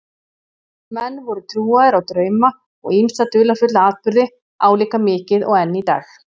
Menn voru trúaðir á drauma og ýmsa dularfulla atburði álíka mikið og enn í dag.